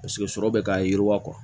Paseke sɔrɔ bɛ k'a yiriwa